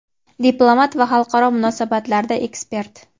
diplomat va xalqaro munosabatlarda ekspert.